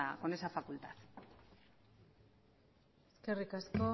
con esa facultad eskerrik asko